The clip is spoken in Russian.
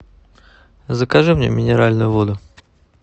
закажи мне минеральную воду